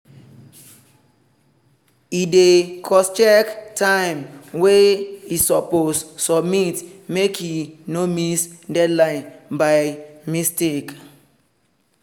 e dey crosscheck time wey e suppose submit make e no miss deadline by mistake